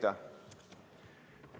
Aitäh!